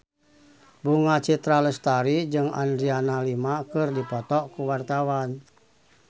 Bunga Citra Lestari jeung Adriana Lima keur dipoto ku wartawan